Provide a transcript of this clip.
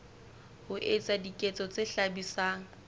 ho etsa diketso tse hlabisang